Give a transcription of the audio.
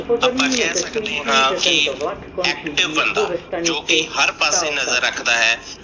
ਆਪਾ ਕਿਹ ਸਕਦੇ ਹਾਂ, ਕੀ active ਬੰਦਾ ਜੋ ਕੀ ਹਰ ਪਾਸੇ ਨਜਰ ਰਕਦਾ ਹੈ।